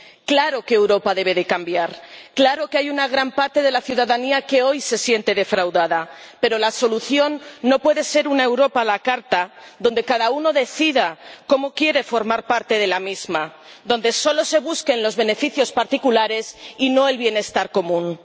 Claro que Europa debe cambiar, claro que hay una gran parte de la ciudadanía que hoy se siente defraudada, pero la solución no puede ser una Europa a la carta, donde cada uno decida cómo quiere formar parte de la misma, donde solo se busquen los beneficios particulares y no el bienestar común.